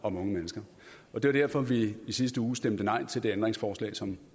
om unge mennesker og det var derfor vi i sidste uge stemte nej til det ændringsforslag som